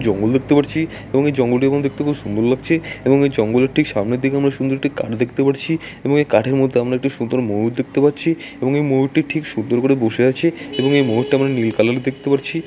জঙ্গল দেখতে পারছি এবং এই জঙ্গলটির মতন দেখতে খুব সুন্দর লাগছে এবং এই জঙ্গলটির ঠিক সামনের দিকে আমরা সুন্দর একটি কাঠ দেখতে পারছি এবং এই কাঠের মধ্যে একটি সুন্দর ময়ূর দেখতে পাচ্ছি এবং এই ময়ূরটি ঠিক সুন্দর করে বসে আছে এবং এই ময়ূরটি আমরা নীল কালারের দেখতে পারছি।